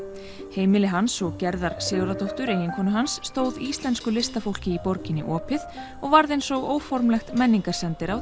heimili hans og Gerðar Sigurðardóttur eiginkonu hans stóð íslensku listafólki í borginni opið og varð eins og óformlegt